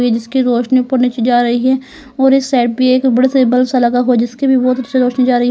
जिसकी रोशनी ऊपर नीचे जा रही है और इस साइड भी एक बड़ा सा बल्ब सा लगा हुआ है जिसकी भी बोहोत अच्छी रोशनी जा रही --